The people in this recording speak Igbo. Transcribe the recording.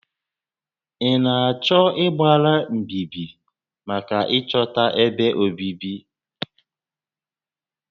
Ị na-achọ ịgbara mbíbí maka ịchọta ébé obibi?